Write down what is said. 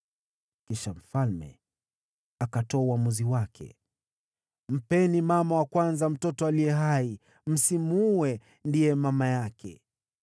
Kisha mfalme akatoa uamuzi wake: “Mpeni mama wa kwanza mtoto aliye hai. Msimuue; ndiye mama yake.”